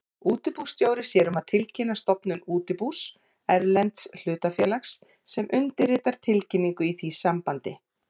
Útibússtjóri sér um að tilkynna stofnun útibús erlends hlutafélags og undirritar tilkynningu í því sambandi.